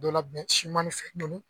Dɔ labɛn simani fɛ ninnu.